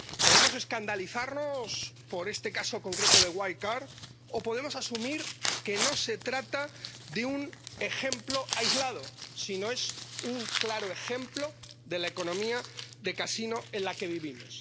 Podemos escandalizarnos por este caso concreto de Wirecard o podemos asumir que no se trata de un ejemplo aislado, sino que es un claro ejemplo de la economía de casino en la que vivimos.